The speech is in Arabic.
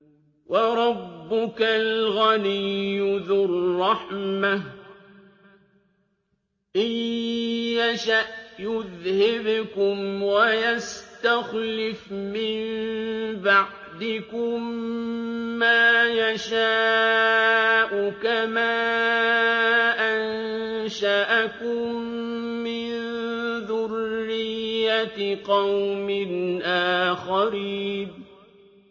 وَرَبُّكَ الْغَنِيُّ ذُو الرَّحْمَةِ ۚ إِن يَشَأْ يُذْهِبْكُمْ وَيَسْتَخْلِفْ مِن بَعْدِكُم مَّا يَشَاءُ كَمَا أَنشَأَكُم مِّن ذُرِّيَّةِ قَوْمٍ آخَرِينَ